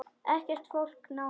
Ekkert fólk nálægt.